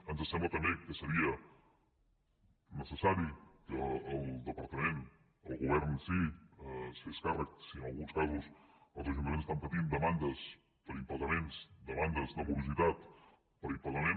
ens sembla també que seria necessari que el departament el govern en si es fes càrrec si en alguns casos els ajuntaments estan patint demandes per impagaments demandes de morositat per impagament